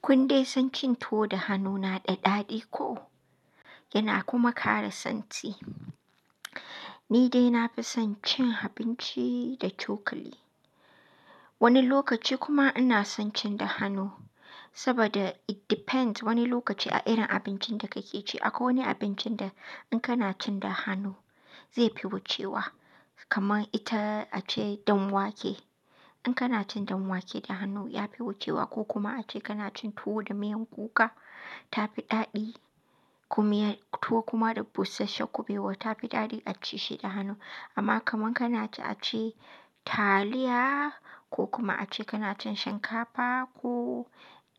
Kun dai san cin tuwo da hannu na ɗaɗi ko? Yana kuma ƙara santi Ni dai na fi son cin abinci da cokali. Wani lokaci kuma ina son cin da hannu saboda it depends wani lokaci a irin abincin da kake ci. Akwai wani abincin da in kana cin da hannu zai fi wucewa, kamar ita ace danwake. In kana cin danwake da hannu ya fi wucewa ko kuma ace kana cin tuwo da miyan kuka ta fi ɗaɗi. Tuwo kuma da busasshen kubewa ta fi ɗaɗi aci Shi da hannu. Amma kamar kana ci ace taliya ko kuma ace kana cin shinkafa ko